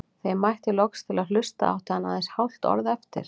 Þegar ég mætti loks til að hlusta átti hann aðeins hálft orð eftir.